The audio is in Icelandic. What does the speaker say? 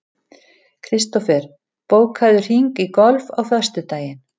Kristofer, bókaðu hring í golf á föstudaginn.